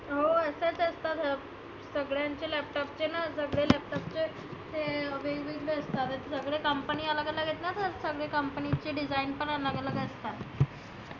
हो असच असतं. सगळ्यांचे laptop चे ना सगळे laptop चे ते सगळे company अलग अलग आहेत ना सगळी company ची design पण अलग अलग असतात.